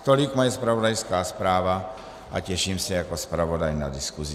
Tolik moje zpravodajská zpráva a těším se jako zpravodaj na diskusi.